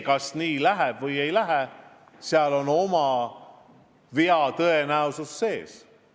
Kas nii läheb või ei lähe – vea tõenäosus on seal sees.